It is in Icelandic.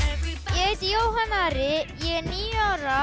ég heiti Jóhann Ari ég er níu ára